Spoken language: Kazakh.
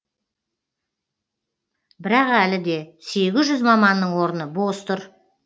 бірақ әлі де сегіз жүз маманның орны бос тұр